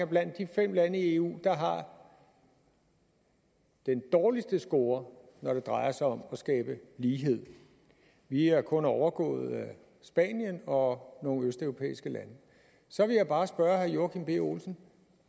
blandt de fem lande i eu der har den dårligste score når det drejer sig om at skabe lighed vi er kun overgået af spanien og nogle østeuropæiske lande så vil jeg bare spørge herre joachim b olsen